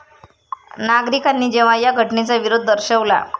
नागरिकांनी जेव्हा या घटनेचा विरोध दर्शवला.